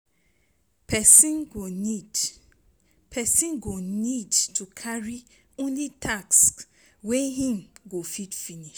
Person go need Person go need to carry only tasks wey im go fit finish